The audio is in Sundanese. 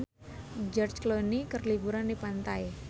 George Clooney keur liburan di pantai